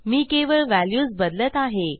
मी केवळ व्हॅल्यूज बदलत आहे